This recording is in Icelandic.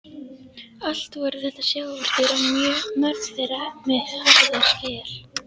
Allt voru þetta sjávardýr og mörg þeirra með harða skel.